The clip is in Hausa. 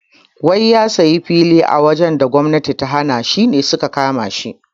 Wai ya siya fili a wajan da gwamnati ta hana shine suka kamashi